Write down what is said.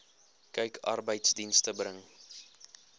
kyk arbeidsdienste bring